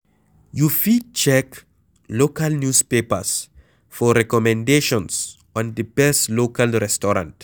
You fit check local newspapers for recommendations on di best local restaurant